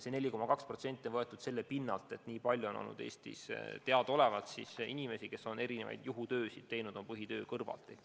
See 4% on võetud arvestades, kui palju on meie teada seni Eestis inimesi, kes on erinevaid juhutöid teinud oma põhitöö kõrvalt.